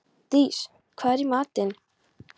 Dís, hvað er í matinn?